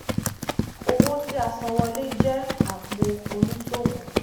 owó tíasanwọlé jẹ apò oníṣòwò